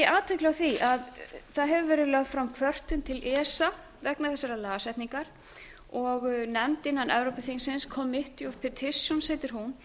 athygli á því að það hefur verið lögð fram kvörtun til esa vegna þessarar lagasetningar og nefnd innan evrópuþingsins committee of petitions heitir hún